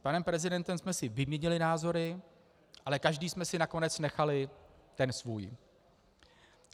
S panem prezidentem jsme si vyměnili názory, ale každý jsme si nakonec nechali ten svůj.